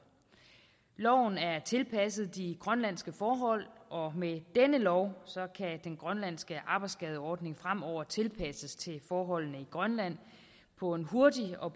loven er tilpasset de grønlandske forhold og med denne lov kan den grønlandske arbejdsskadeordning fremover tilpasses til forholdene i grønland på en hurtig og